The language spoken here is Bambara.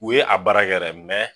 U ye a baara kɛ dɛ